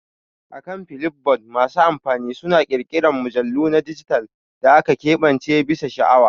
Akan Flipboard masu amfani suna ƙirƙirar mujallu na dijital da aka keɓance bisa sha'awa.